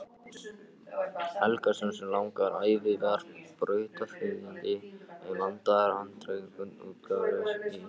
Helgason sem langa ævi var brautryðjandi um vandaðar handritaútgáfur í